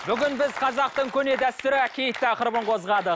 бүгін біз қазақтың көне дәстүрі киіт тақырыбын қозғадық